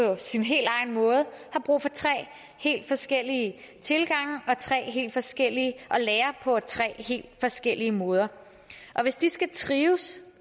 sin helt egen måde har brug for tre helt forskellige tilgange og tre helt forskellige forskellige måder hvis de skal trives